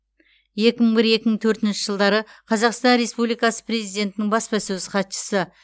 екі мың бір екі мың төртінші жылдары қазақстан республикасы президентінің баспасөз хатшысы